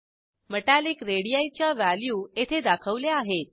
metallic radii च्या value येथे दाखवल्या आहेत